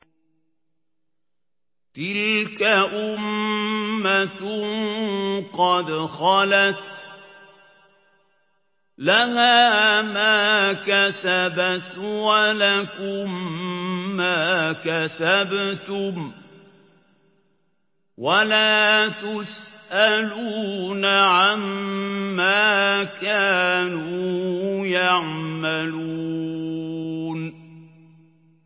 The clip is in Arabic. تِلْكَ أُمَّةٌ قَدْ خَلَتْ ۖ لَهَا مَا كَسَبَتْ وَلَكُم مَّا كَسَبْتُمْ ۖ وَلَا تُسْأَلُونَ عَمَّا كَانُوا يَعْمَلُونَ